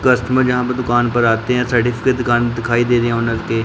Customer जहां पे दुकान पर आते है साइड इसके दुकान दिखाई दे रहे हैं ऑनर के।